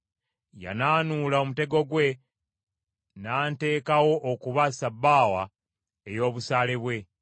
Yanaanuula omutego gwe, n’anteekawo okuba ssabbaawa ey’obusaale bwe.